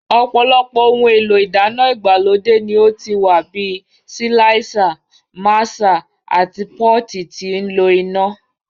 Ọ̀pọ̀lọpọ̀ ohun èlò ìdáná ìgbàlódé ni ó ti wà bíi síláísà, máṣà àti pọ́ọ̀tì tí ń lo iná.